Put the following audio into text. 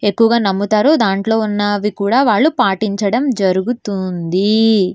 ఎక్కువగా నమ్ముతారు దాంట్లో ఉన్నది కూడా వాళ్ళు పాటించడం జరుగుతుంది.